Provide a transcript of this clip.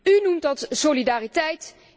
U noemt dat solidariteit.